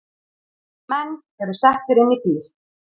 Menn eru settir inn í bíl